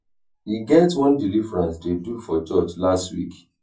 e get one deliverance dey do for church last week